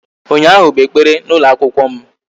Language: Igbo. Ụnyaahụ bụ ekpere n'ụlọ akwụkwọ m